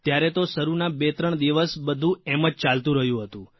ત્યારે તો શરૂના બેત્રણ દિવસ બધું એમ જ ચાલતું રહ્યું હતું